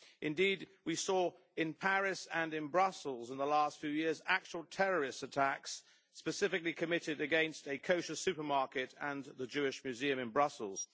Indeed, we saw in Paris and in Brussels in the last few years actual terrorist attacks specifically committed against a kosher supermarket and the Jewish Museum in Brussels.